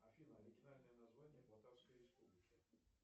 афина оригинальное название полтавской республики